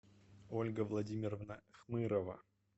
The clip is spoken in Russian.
ольга владимировна хмырова